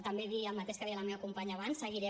també dir el mateix que deia la meva companya abans seguirem